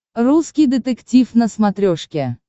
русский детектив на смотрешке